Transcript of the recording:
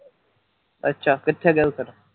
ਅੱਛਾ ਕਿੱਥੇ ਗਏ ਫਿਰ